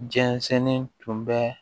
Jɛnsɛnnen tun bɛ